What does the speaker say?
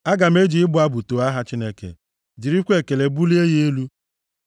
Aga m eji ịbụ abụ too aha Chineke, jirikwa ekele bulie ya elu.